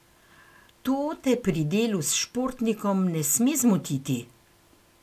To te pri delu s športnikom ne sme zmotiti.